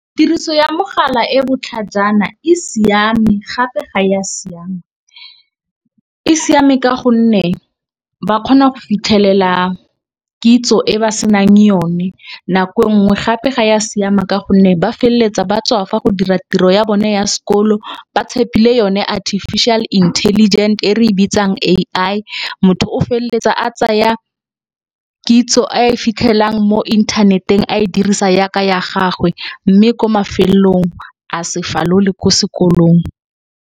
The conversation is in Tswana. Tiriso ya mogala e botlhajana e siame gape ga ya siama. E siame ka gonne ba kgona go fitlhelela kitso e ba senang yone nako nngwe, gape ga ya siama ka gonne ba feleletsa ba tswafa go dira tiro ya bone ya sekolo ba tshepile yone artificial intelligent e re e bitsang A_I. Motho o felletsa a tsaya kitso a e fitlhelang mo internet-eng a e dirisa yaka ya gagwe mme ko mafelong a se falole ko sekolong.